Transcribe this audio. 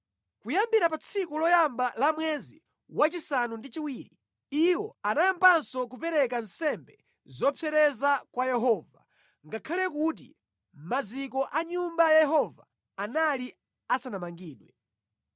Kuyambira pa tsiku loyamba la mwezi wachisanu ndi chiwiri, iwo anayambanso kupereka nsembe zopsereza kwa Yehova, ngakhale kuti maziko a Nyumba ya Yehova anali asanamangidwe.